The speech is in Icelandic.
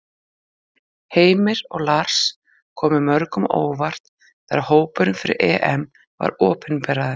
Heimir og Lars komu mörgum á óvart þegar hópurinn fyrir EM var opinberaður.